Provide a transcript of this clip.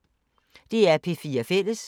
DR P4 Fælles